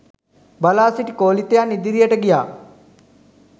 බලා සිටි කෝලිතයන් ඉදිරියට ගියා